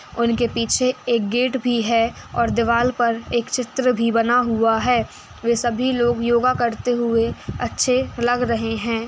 उनके पीछे एक गेट भी है और दीवाल पर एक चित्र भी बना हुआ है वे सभी लोग योगा करते हुए अच्छे लग रहे है।